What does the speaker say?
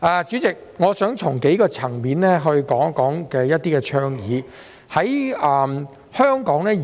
主席，我想從多個層面討論一些倡議。